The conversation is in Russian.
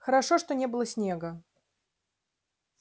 хорошо что не было снега